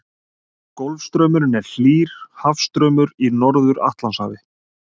Golfstraumurinn er hlýr hafstraumur í Norður-Atlantshafi.